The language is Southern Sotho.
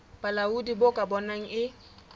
bolaodi bo ka bonang e